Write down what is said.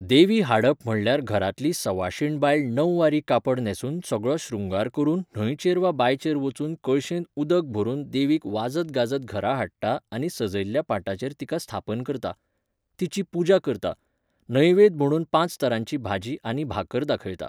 देवी हाडप म्हणल्यार घरांतली सवाशीण बायल णववारी कापड न्हेसून सगळो श्रृंगार करून न्हंयचेर वा बांयचेर वचून कळशेंत उदक भरून देवीक वाजत गाजत घरा हाडटा आनी सजयल्ल्या पाटाचेर तिका स्थापन करता. तिजी पुजा करता. नेवैद म्हूण पांच तरांची भाजी आनी भाकर दाखयता.